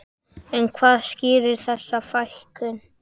En hvað skýrir þessa fækkun?